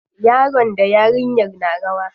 Yaron da yarinyar suna rawa.